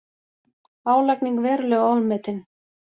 Álagning verulega ofmetin